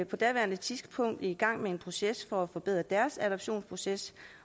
på daværende tidspunkt i gang med en proces for at forbedre deres adoptionsproces